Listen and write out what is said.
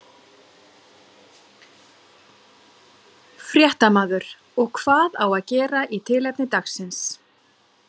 Fréttamaður: Og hvað á að gera í tilefni dagsins?